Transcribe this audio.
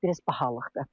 Biraz bahalıqdır.